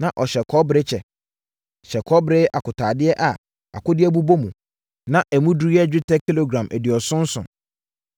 Na ɔhyɛ kɔbere kyɛ, hyɛ kɔbere akotaadeɛ a akodeɛ bobɔ mu, na emu duru yɛ dwetɛ kilogram aduonum nson.